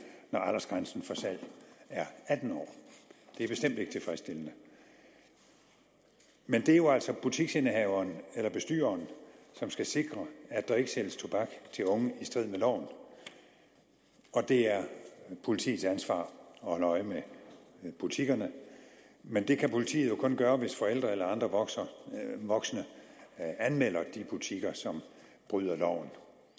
når aldersgrænsen for salg er atten år det er bestemt ikke tilfredsstillende men det er jo altså butiksindehaveren eller bestyreren som skal sikre at der ikke sælges tobak til unge i strid med loven og det er politiets ansvar at holde øje med butikkerne men det kan politiet jo kun gøre hvis forældre eller andre voksne voksne anmelder de butikker som bryder loven